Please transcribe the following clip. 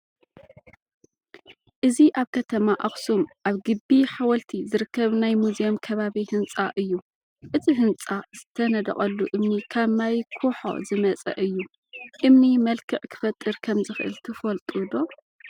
እዚ ኣብ ከተማ ኣኽሱም ኣብ ግቢ ሓወልቲ ዝርከብ ናይ ሙዝየም ከባቢ ህንፃ እዩ፡፡ እቲ ህንፃ ዝተነደቐሉ እምኒ ካብ ማይ ኩሖ ዝመፀ እዩ፡፡ እምኒ መልክዕ ክፈጠር ከምዝኽእል ትፈልጡ ዶ?